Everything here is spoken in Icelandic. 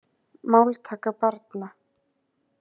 Máltaka barna.